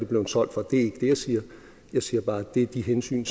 blevet solgt for det er ikke det jeg siger jeg siger bare at det er de hensyn